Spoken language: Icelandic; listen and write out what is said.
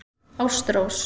Ástrós